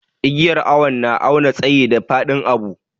Igiyar awo na awna tsayi da fadin abu.